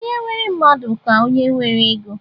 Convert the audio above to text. Onye nwere mmadụ ka onye nwere ego